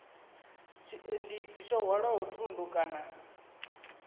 tshiendisi tsho hwalaho thundu kana